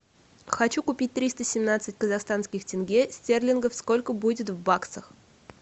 хочу купить триста семнадцать казахстанских тенге стерлингов сколько будет в баксах